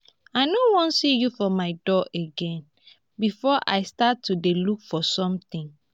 i no wan see you for my door again before i start to dey look for something